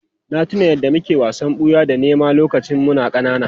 Na tuna yadda muke wasan ɓuya da nema lokacin muna ƙanana.